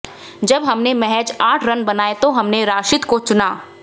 जब हमने महज आठ रन बनाए तो हमने राशिद को चुना